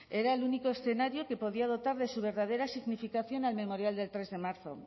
era el único escenario que podía dotar de su verdadera significación al memorial del tres de marzo